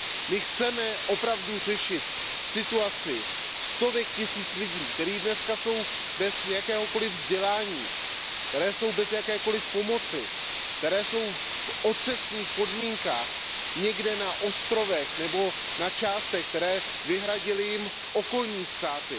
My chceme opravdu řešit situaci stovek tisíců lidí, kteří dnes jsou bez jakéhokoliv vzdělání, kteří jsou bez jakékoliv pomoci, kteří jsou v otřesných podmínkách někde na ostrovech nebo v částech, které jim vyhradily okolní státy.